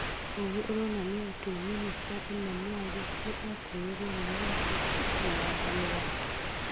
Ũgĩ ũronania atĩ minicita Emma Mwali nĩ 'aatunyirwo' wĩyathi na wathani wake.